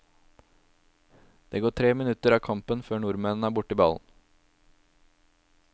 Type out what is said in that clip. Det går tre minutter av kampen før nordmenn er borti ballen.